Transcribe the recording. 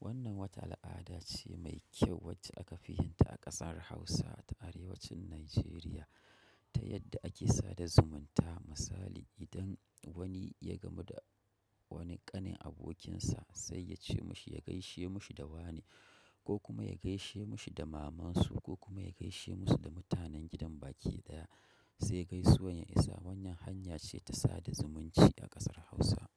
Wannan wata al'adace mai kyau wacce a kafi yinta a kasar hausa ta arewa cin Nigeriata yadda ake sada zumunta. Misali, idan wani ya gamu da wani ƙanin abokinsa sai ya ce mashi, ya gaishe mashi da wane ko kuma ya gaishe mashi da mamansu ko kuma ya gaishe musu da mutanen gidan baki daya sai gaisuwan ya isa. Wanyan hanya ce ta sada zumunci a ƙasar Hausa.